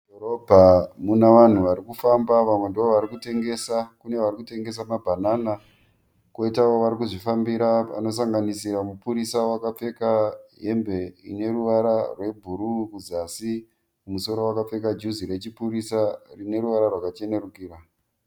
Mudhorobha muna vanhu vari kufamba vamwe ndovari kutengesa kune vari kutengesa mabhanana kwoitawo vari kuzvifambira vanosanganisira mupurisa wakapfeka hembe ine ruvara rwebhuruu kuzasi kumusoro wakapfeka juzi rechipurisa rine ruvara rwakachenerukira.